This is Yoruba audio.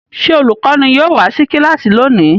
Ṣé olùkọ́ní yóò wá sí kíláàsì lónìí?